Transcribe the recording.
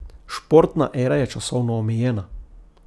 Športna era je časovno omejena.